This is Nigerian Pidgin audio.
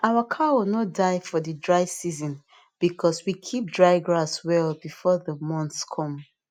our cow no die for the dry season because we keep dry grass well before the months come